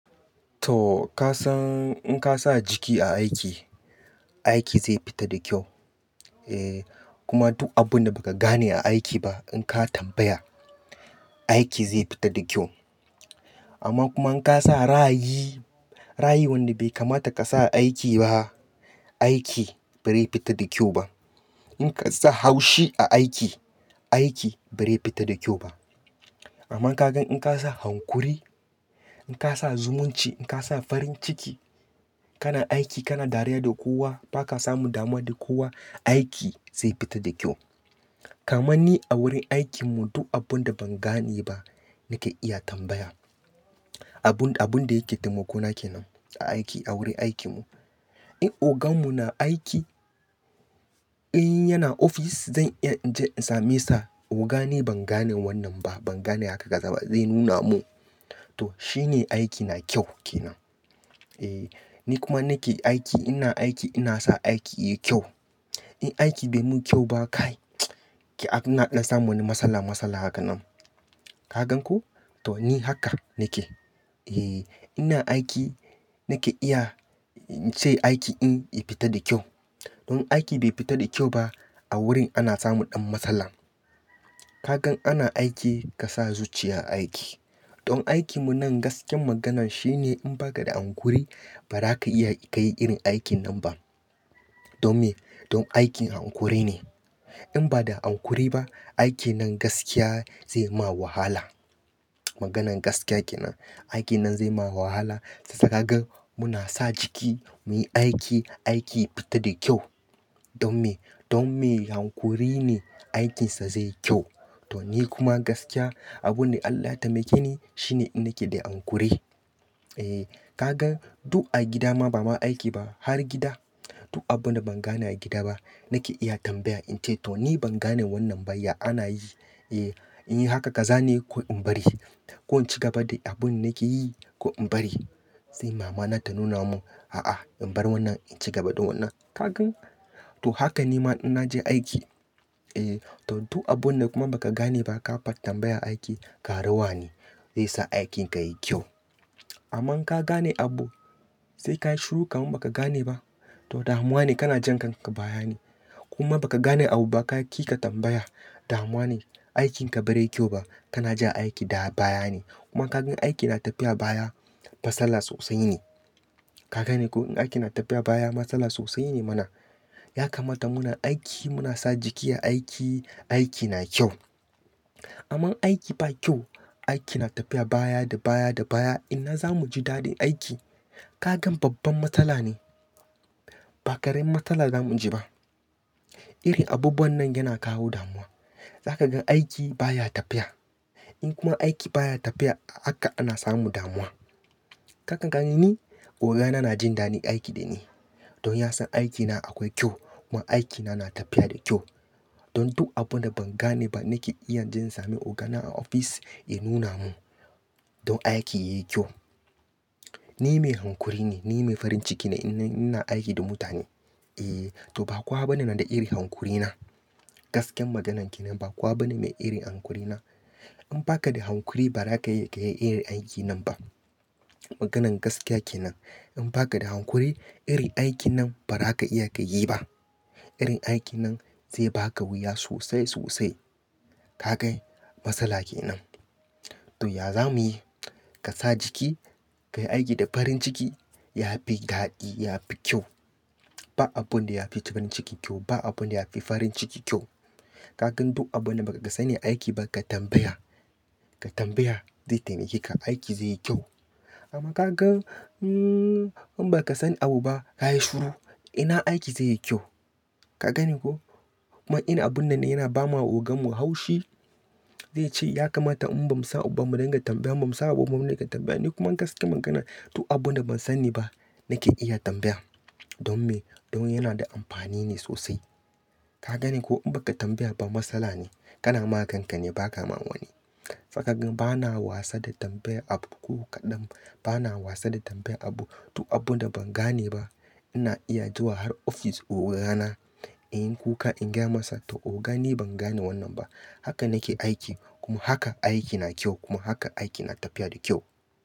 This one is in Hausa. To ka san in ka sa jiki a aiki, aiki zai fita da kyau. Eh kuma duk abun da baka gane a aiki ba in ka tambaya, aiki zai fita da kyau. Amma kuma in kasa ra'ayi, ra'ayi wanda bai kamata ka sa a aiki ba, aiki bare fita da kyau ba. In kasa haushi a aiki, aiki bare fita da kyau ba. Amma ka gan in kasa hanƙuri, in kasa zumunci, in kasa farin ciki, kana aiki kana dariya da kowa baka samun damuwa da kowa, aiki zai fita da kyau. Kaman ni a wurin aikin mu duk abun da ban gane ba nake iya tambaya. Abun, abun da yake taimako na kenan a aiki a wurin aikin mu. In ogan mu na aiki, in yana ofis zan iyan in je in same sa,"Oga ni ban gane wannan ba, ban gane haka kaza ba." Zai nuna mun. To shine aiki na kyau kenan. Eh ni kuma nake aiki, ina aiki ina sa aiki yayi kyau. In aiki bai mun kyau ba kai ki ana ɗan samun wani matsala, matsala hakan nan. Ka gan ko? To ni haka nake. Eh ina aiki nake iya in ce aiki in, ya fita da kyau. In aiki bai fita da kyau ba a wurin ana samu ɗan matsala. Kagan ana aiki kasa zuciya a aiki. Dan aikin mun nan gaskiyar maganan shine in baka da hanƙuri bara ka iya ka yi irin aikin nan ba. Don me? Don aikin hanƙuri ne. In ba da hanƙuri ba, aikin nan gaskiya zai ma wahala. Maganan gaskiya kenan. Aikin nan zai ma wahala. Saka gan muna sa jiki muyi aiki, aiki ya fita da kyau. Don me? Don me hanƙuri ne aikinsa zai yi kyau. To ni kuma gaskiya abun da Allah ya taimake ni shine nake da hankuri. Eh kagan duk a gida ma bama aiki ba har gida duk abun da ban gane a gida ba nake iya tambaya in ce,"to ni ban gane wannan baya." Ana yi, "Eh in yi haka kaza ne ko in bari. Ko in ci gaba da abun nake yi ko in bari." Sai mama na ta nuna mun,"A'a in bar wannan in ci gaba da wannan." Ka gan? To haka nima in naje aiki. Eh to duk abun da kuma baka gane ba ka fat tambaya aiki, ka ruwa ne. Zai sa aikin ka yayi kyau. Amma in ka gane abu sai kayi shiru kam baka gane ba to damuwa ne kana jan kanka baya ne. Kuma baka gane abu ba ka ƙi ka tambaya damuwa ne. Aikin ka bare yi kyau ba. Kana ja aiki dawo baya ne. Kuma ka gan aiki na tafiya baya matsala sosai ne. Ka gane ko in aiki na tafiya baya matsala sosai ne mana. Ya kamata muna aiki muna sa jiki a aiki, aiki na kyau. Amma aiki ba kyau, aiki na tafiya baya da baya da baya ina zamu ji daɗin aiki. Ka gan babban matsala ne. Ba ƙaramin matsala zamu ji ba. Irin abubuwan nan yana kawo damuwa. Zaka gan aiki baya tafiya. In kuma aiki baya tafiya haka ana samu damuwa. Ka kan gani ni oga na na jin daɗin aiki da ni. Don ya san aikina akwai kyau kuma aikina na tafiya da kyau. Don duk abun da ban gane ba nake iya je in same ogana a ofis ya nuna mun. Don aiki yayi kyau. Ni mai hanƙuri ne, ni mai farin ciki ne in, ina aiki da mutane. Eh to ba kowa bane na da irin hanƙuri na. Gaskiyar maganan kenan ba kowa bane mai irin hanƙuri na. In baka da hanƙuri bara ka iya ka yi irin aikin nan ba. Maganan gaskiya kenan. In baka da hanƙuri irin aikin nan bara ka iya ka yi ba. Irin aikin nan zai baka wuya sosai, sosai. Ka kai matsala kenan. To ya za muyi? Ka sa jiki ka yi aiki da farin ciki, yafi daɗi yafi kyau. Ba abun da yafi farin ciki kyau, ba abun da yafi farin ciki kyau. Kakan duk abun da baka sani aiki ba ka tambaya. Ka tambaya zai taimake ka, aiki zai yi kyau. Amma kagan hmm in baka san abu ba kayi shiru ina aiki zai yi kyau. Ka gane ko? Kuma ina abun nan ne yana bama ogan mu haushi. Zai ce,"Ya kamata in bamu san uba mu dinga tambaya, bamu san aba mu nake tambaya." Ni kuma gaskiyar magana duk abun da ban sani ba nake iya tambaya. Don me? Don yana da amfani ne sosai. Ka gani ko in baka tambaya ba matsala ne. Kana ma kan ka ne ba ka ma wani. Zaka gan bana wasa da tambayar abu ko kaɗan. Bana wasa da tambayar abu. Duk abun da ban gane ba ina iya zuwa har ofis oga na in yi kuka in gaya masa,"to oga ni ban gane wannan ba. Haka nake aiki kuma haka aiki na kyau kuma haka aiki na tafiya da kyau."